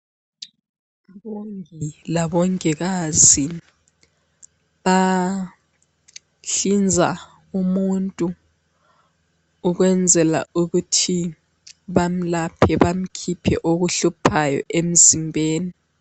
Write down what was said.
UMongi labongokazi bahlinza umuntu ukwenzela ukuthi bamlaphe bamkhiphe okuhluphayo emzimbeni.